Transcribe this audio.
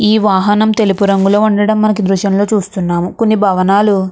ఈ వాహనం తెలుపు రంగులో ఉండడం మనకి దృశ్యంలో చూస్తున్నాము కొన్ని భవనాలు --